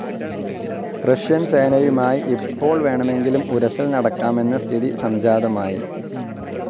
Russian സേനയുമായി ഇപ്പോൾ വേണമെങ്കിലും ഉരസൽ നടക്കാമെന്ന സ്ഥിതി സംജാതമായി.